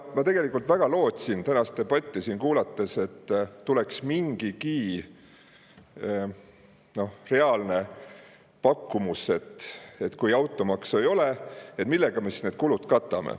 Ma tegelikult väga lootsin tänast debatti siin kuulates, et tuleb mingigi reaalne pakkumus, et kui automaksu ei ole, millega me siis need kulud katame.